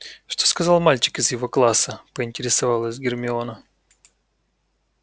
что сказал мальчик из его класса поинтересовалась гермиона